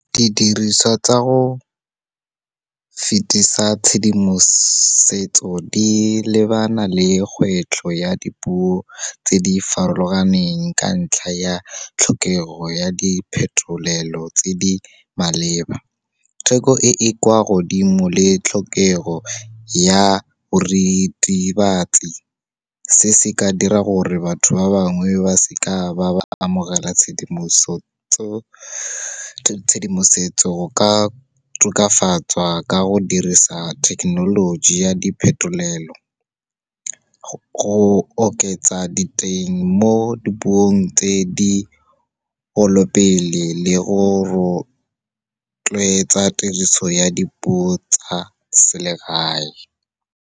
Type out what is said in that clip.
Didiriswa tsa go fetisa tshedimosetso di lebana le kgwetlho ya dipuo tse di farologaneng, ka ntlha ya tlhokego ya diphetolelo tse di maleba, theko e e kwa godimo le tlhokego ya boritibatsi. Se, se ka dira gore batho ba bangwe ba seka ba ba amogela tshedimosetso ka tokafatswa ka go dirisa thekenoloji ya diphetolelo. Go oketsa diteng mo dipuong tse digolo pele, le go rotloetsa tiriso ya dipuo tsa selegae.